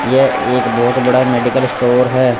यह एक बहोत बड़ा मेडिकल स्टोर है।